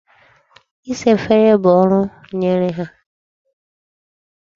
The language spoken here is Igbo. Isa efere bụ ọrụ m nyere ha.